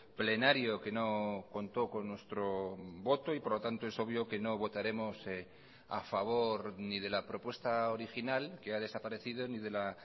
plenario que no contó con nuestro voto y por lo tanto es obvio que no votaremos a favor ni de la propuesta original que ha desaparecido ni de la